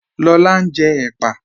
Lọlá n jẹ́ èpà